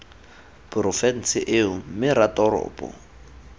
porofense eo mme c ratoropo